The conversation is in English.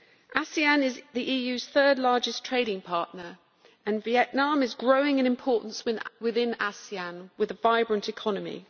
ASEAN is the EU's third largest trading partner and Vietnam is growing in importance within ASEAN, with a vibrant economy.